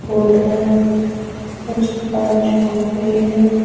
है उस पर है।